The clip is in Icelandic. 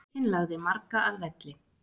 Hitinn lagði marga að velli